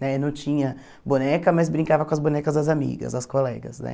Né não tinha boneca, mas brincava com as bonecas das amigas, das colegas, né?